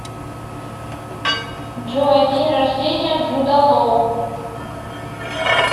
джой день рождения джуда лоу